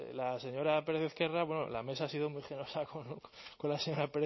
la señora pérez ezquerra bueno la mesa ha sido muy generosa con la señora